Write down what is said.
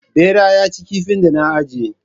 Ɓera ya cinye kifin da na ajiye